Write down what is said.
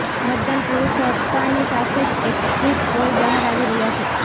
મતદાન પૂરૂ થતાની સાથે જ એક્ઝિટ પોલ બહાર આવી રહ્યાં છે